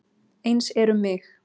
Eins er um mig.